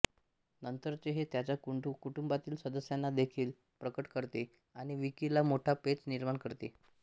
नंतरचे हे त्याच्या कुटुंबातील सदस्यांना देखील प्रकट करते आणि विकीला मोठा पेच निर्माण करते